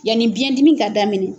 Yanni biyɛndimi ka daminɛ